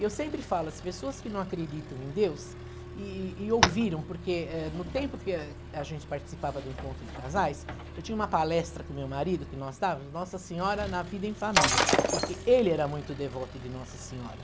E eu sempre falo, as pessoas que não acreditam em Deus, e e ouviram, porque eh, no tempo que eh, a gente participava do encontro de casais, eu tinha uma palestra com meu marido, que nós estávamos, Nossa Senhora na vida em família, porque ele era muito devoto de Nossa Senhora.